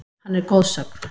Hann er goðsögn.